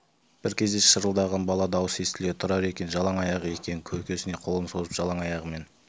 бір кезде шырылдаған бала дауысы естіледі тұрар екен жалаң аяқ екен көкесіне қолын созып жалаң аяғымен